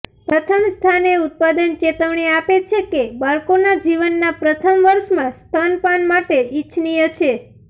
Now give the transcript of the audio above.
પ્રથમ સ્થાને ઉત્પાદક ચેતવણી આપે છે કે બાળકોના જીવનના પ્રથમ વર્ષમાં સ્તનપાન માટે ઇચ્છનીય છે